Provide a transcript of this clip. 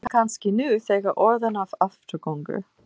Ég er kannski nú þegar orðinn að afturgöngu.